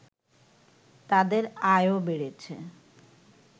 তাদের আয়ও বেড়েছে